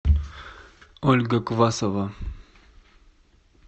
ольга квасова